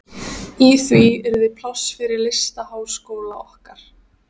Í því yrði pláss fyrir listaháskóla okkar.